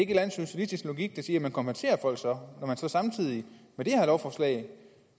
anden socialistisk logik der siger at man kompenserer folk når så samtidig det her lovforslag